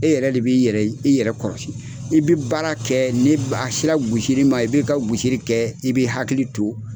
E yɛrɛ le b'i yɛrɛ i yɛrɛ kɔrɔsi. i bi baara kɛ, ni b a sera gosili ma i b'i ka gosili kɛ, i b'i hakili to